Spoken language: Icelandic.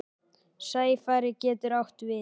Sæfari getur átt við